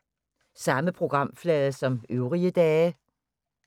Samme programflade som øvrige dage